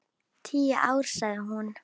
Tíu ár, sagði hún.